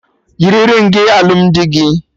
Yiri ringị alụmdi gị!